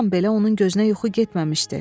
Bir an belə onun gözünə yuxu getməmişdi.